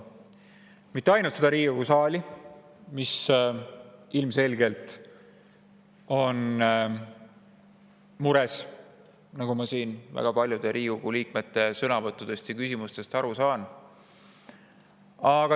ainult Riigikogu saali, mis ilmselgelt on mures, nagu ma siin väga paljude Riigikogu liikmete sõnavõttudest ja küsimustest aru saan.